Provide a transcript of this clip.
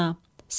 Səlim.